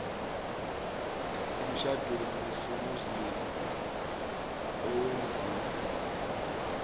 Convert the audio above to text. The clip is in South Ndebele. emtjhadweni wesimuslimu owenziwe